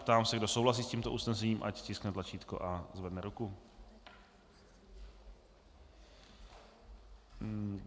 Ptám se, kdo souhlasí s tímto usnesením, ať stiskne tlačítko a zvedne ruku.